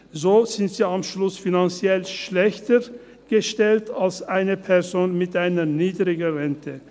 So sind sie am Schluss finanziell schlechter gestellt als eine Person mit einer niedrigeren Rente.